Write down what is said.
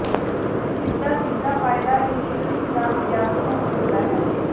ਜਿਸ ਦਾ ਸਿੱਧਾ ਫਾਇਦਾ ਇੰਜੀਨੀਅਰਿੰਗ ਦਾ ਵਿਦਿਆਰਥੀਆਂ ਨੂੰ ਮਿਲਦਾ ਹੈ